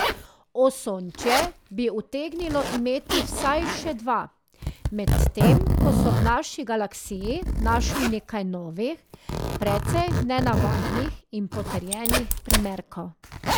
Osončje bi utegnilo imeti vsaj še dva, medtem ko so v naši galaksiji našli nekaj novih, precej nenavadnih in potrjenih primerkov.